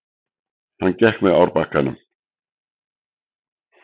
Hann gekk með árbakkanum.